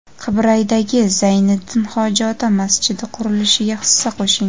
Qibraydagi "Zayniddin hoji ota" masjidi qurilishiga hissa qo‘shing!.